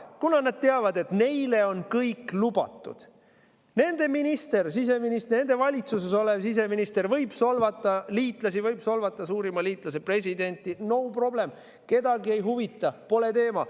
Kuna nad teavad, et neile on kõik lubatud, võib nende minister, nende valitsuses olev siseminister solvata liitlasi, võib solvata suurima liitlase presidenti – no problem, kedagi ei huvita, pole teema.